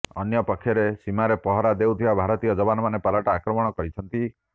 ଅନ୍ୟପକ୍ଷରେ ସୀମାରେ ପହରା ଦେଉଥିବା ଭାରତୀୟ ଯବାନମାନେ ପାଲଟା ଆକ୍ରମଣ କରିଛନ୍ତି